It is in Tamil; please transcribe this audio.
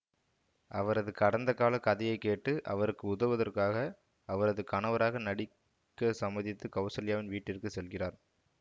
அவரது கடந்தகால கதையை கேட்டு அவருக்கு உதவுவதற்காக அவரது கணவராக நடிக்க சம்மதித்து கௌசல்யாவின் வீட்டிற்கு செல்கிறார்